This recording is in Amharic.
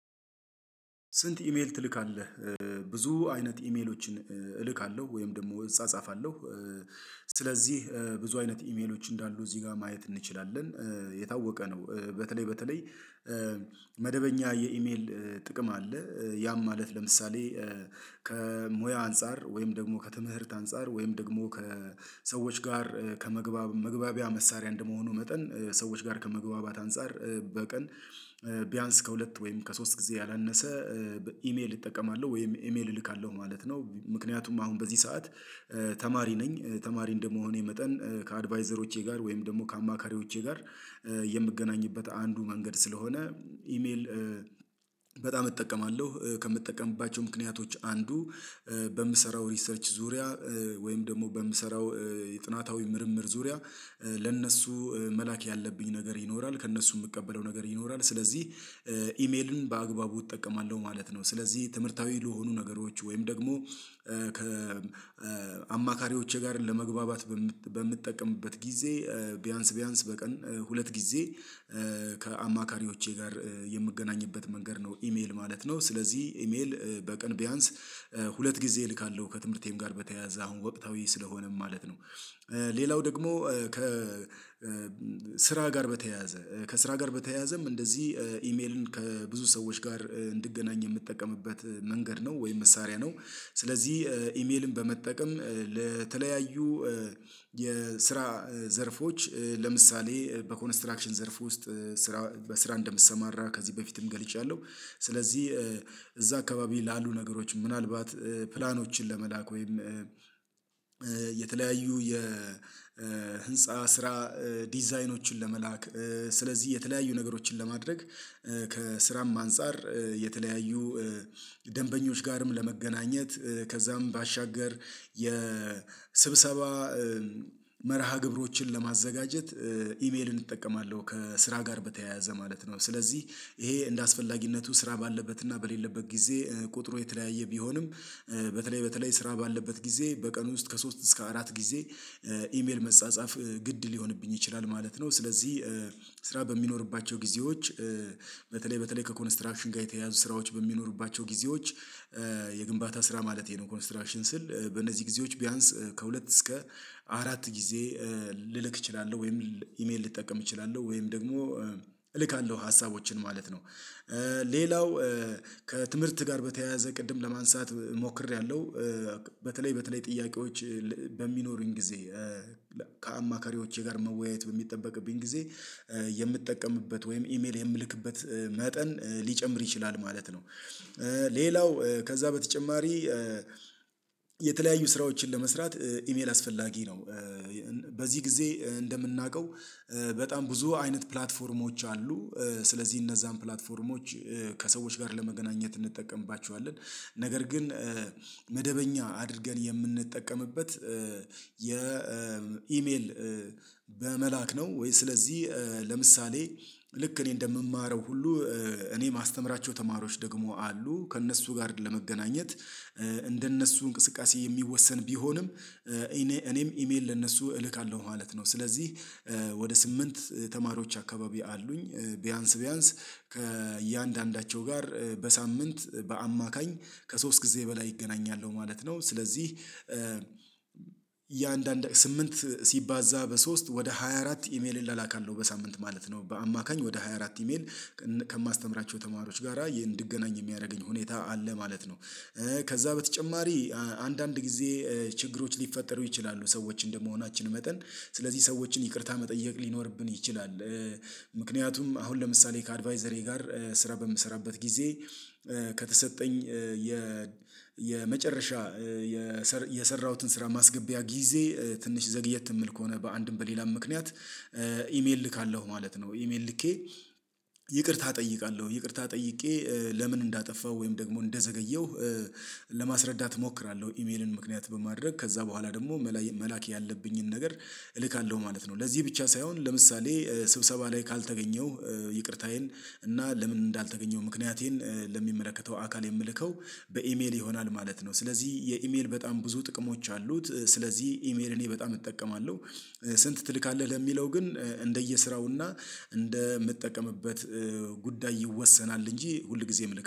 ስንት ኢሜል ትልካለህ? ብዙ አይነት ኢሜሎችን እልካለሁ ወይም ደግሞ እጻጻፋለሁ። ስለዚህ ብዙ አይነት ኢሜሎች እንዳሉ እዚህ ጋር ማየት እንችላለን። የታወቀ ነው በተለይ በተለይ መደበኛ የኢሜል ጥቅም አለ። ያም ማለት ለምሳሌ ከሙያ አንፃር ወይም ደግሞ ከትምህርት አንፃር ወይም ደግሞ ከሰዎች ጋር ከመግባብ መግባቢያ መሳሪያ እንደመሆኑ መጠን ሰዎች ጋር ከመግባባት አንፃር። በቀን ቢያንስ ከሁለት ወይም ከሶስት ጊዜ ያላነሰ ኢሜል እጠቀማለሁ ወይም ኢሜል እልካለሁ ማለት ነው። ምክንያቱም አሁን በዚህ ሰዓት ተማሪ ነኝ ተማሪ እንደመሆኔ መጠን ከአድቫይዘሮቼ ጋር ወይም ደግሞ ከአማካሪዎቼ ጋር የምገናኝበት አንዱ መንገድ ስለሆነ። ኢሜል በጣም እጠቀማለሁ ከምጠቀምባቸው ምክንያቶች አንዱ። በምሰራው ሪሰርች ዙሪያ ወይም ደግሞ በምሰራው የጥናታዊ ምርምር ዙሪያ ለእነሱ መላክ ያለብኝ ነገር ይኖራል ከእነሱ የምቀበለው ነገር ይኖራል። ስለዚህ ኢሜልን በአግባቡ እጠቀማለሁ ማለት ነው። ስለዚህ ትምህርታዊ ለሆኑ ነገሮች ወይም ደግሞ ከ አማካሪዎቼ ጋር ለመግባባት በምጠቀምበት ጊዜ። ቢያንስ ቢያንስ በቀን ሁለት ጊዜ ከአማካሪዎቼ ጋር የምገናኝበት መንገድ ነው ኢሜል ማለት ነው። ስለዚህ ኢሜል በቀን ቢያንስ ሁለት ጊዜ እልካለሁ ከትምህርቴም ጋር በተያያዘ አሁን ወቅታዊ ስለሆነም ማለት ነው። ሌላው ደግሞ ከ ስራ ጋር በተያያዘ ከስራ ጋር በተያያዘም እንደዚህ ኢሜልን ከብዙ ሰዎች ጋር እንድገናኝ የምጠቀምበት መንገድ ነው ወይም መሳሪያ ነው። ስለዚህ ኢሜልን በመጠቀም ለተለያዩ የስራ ዘርፎች ለምሳሌ በኮንስትራክሽን ዘርፍ ውስጥ ስራ በስራ እንደምሰማራ ከዚህ በፊትም ገልጫለሁ። ስለዚህ እዛ አካባቢ ላሉ ነገሮች ምናልባት ፕላኖችን ለመላክ ወይም የተለያዩ የህንፃ ስራ ዲዛይኖችን ለመላክ ስለዚህ የተለያዩ ነገሮችን ለማድረግ ከስራም አንፃር የተለያዩ ደንበኞች ጋርም ለመገናኘት ከዛም ባሻገር የስብሰባ መርሃ ግብሮችን ለማዘጋጀት ኢሜልን እጠቀማለሁ። ከስራ ጋር በተያያዘ ማለት ነው። ስለዚህ ይሄ እንደ አስፈላጊነቱ ስራ ባለበት እና በሌለበት ጊዜ ቁጥሩ የተለያየ ቢሆንም በተለይ በተለይ ስራ ባለበት ጊዜ በቀን ውስጥ ከሶስት እስከ አራት ጊዜ ኢሜል መጻጻፍ ግድ ሊሆንብኝ ይችላል ማለት ነው። ስለዚህ ስራ በሚኖርባቸው ጊዜዎች በተለይ በተለይ ከኮንስትራክሽን ጋር የተያያዙ ስራዎች በሚኖርባቸው ጊዜዎች የግንባታ ስራ ማለቴ ነው። ኮንስትራክሽን ስል በእነዚህ ጊዜዎች ቢያንስ ከሁለት እስከ አራት ጊዜ ልልክ እችላለሁ ወይም ኢሜል ልጠቀም እችላለሁ ወይም ደግሞ እልካለሁ ሀሳቦችን ማለት ነው። ሌላው ከትምህርት ጋር በተያያዘ ቅድም ለማንሳት ሞክሬያለሁ። በተለይ በተለይ ጥያቄዎች በሚኖሩኝ ጊዜ ከአማካሪዎቼ ጋር መወያየት በሚጠበቅብኝ ጊዜ የምጠቀምበት ወይም ኢሜል የምልክበት መጠን ሊጨምር ይችላል ማለት ነው። ሌላው ከዛ በተጨማሪ የተለያዩ ስራዎችን ለመስራት ኢሜል አስፈላጊ ነው። በዚህ ጊዜ እንደምናውቀው በጣም ብዙ አይነት ፕላትፎርሞች አሉ። ስለዚህ እነዛን ፕላትፎርሞች ከሰዎች ጋር ለመገናኘት እንጠቀምባችኋለን ነገር ግን መደበኛ አድርገን የምንጠቀምበት የኢሜል በመላክ ነው። ወይ ስለዚህ ለምሳሌ ልክ እኔ እንደምማረው ሁሉ እኔ የማስተምራቸው ተማሪዎች ደግሞ አሉ ከእነሱ ጋር ለመገናኘት እንደነሱ እንቅስቃሴ የሚወሰን ቢሆንም እኔ እኔም ኢሜል ለእነሱ እልካለሁ ማለት ነው። ስለዚህ ወደ ስምንት ተማሪዎች አካባቢ አሉኝ ቢያንስ ቢያንስ ከእያንዳንዳቸው ጋር በሳምንት በአማካኝ ከሶስት ጊዜ በላይ ይገናኛሉ ማለት ነው። ስለዚህ የአንዳንድ ስምንት ሲባዛ በሶስት ወደ 24 ኢሜል እላላካለሁ በሳምንት ማለት ነው በአማካኝ ወደ ሃያ አራት ኢሜል ከማስተምራቸው ተማሪዎች ጋራ እንድገናኝ የሚያደርገኝ ሁኔታ አለ ማለት ነው። ከዛ በተጨማሪ አንዳንድ ጊዜ ችግሮች ሊፈጠሩ ይችላሉ ሰዎች እንደመሆናችን መጠን ስለዚህ ሰዎችን ይቅርታ መጠየቅ ሊኖርብን ይችላል። ምክንያቱም አሁን ለምሳሌ ከአድቫይዘሬ ጋር ስራ በምሰራበት ጊዜ ከተሰጠኝ የ የመጨረሻ የሰራሁትን ስራ ማስገቢያ ጊዜ ትንሽ ዘግየት የምል ከሆነ በአንድም በሌላም ምክንያት ኢሜል ልካለሁ ማለት ነው። ኢሜል ልኬ ይቅርታ እጠይቃለሁ ይቅርታ ጠይቄ ለምን እንዳጠፋው ወይም ደግሞ እንደዘገየሁ ለማስረዳት እሞክራለሁ ኢሜልን ምክንያት በማድረግ ከዛ በኋላ ደግሞ መላክ ያለብኝን ነገር እልካለሁ ማለት ነው። ለዚህ ብቻ ሳይሆን ለምሳሌ ስብሰባ ላይ ካልተገኘሁ ይቅርታዬን እና ለምን እንዳልተገኘው ምክንያቴን ለሚመለከተው አካል የምልከው በኢሜል ይሆናል ማለት ነው። ስለዚህ የኢሜል በጣም ብዙ ጥቅሞች አሉት። ስለዚህ ኢሜል እኔ በጣም እጠቀማለሁ። ስንት ትልካለህ ለሚለው ግን እንደየስራውና እንደምጠቀምበት ጉዳይ ይወሰናል እንጂ ሁልጊዜም ልክ